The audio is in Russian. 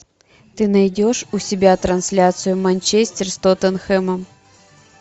ты найдешь у себя трансляцию манчестер с тоттенхэмом